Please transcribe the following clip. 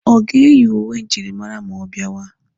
Ọ ga-eyi uwe njirimara ma ọ bịawa?